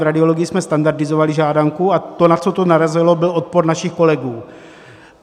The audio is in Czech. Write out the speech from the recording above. V radiologii jsme standardizovali žádanku a to, na co to narazilo, byl odpor našich kolegů.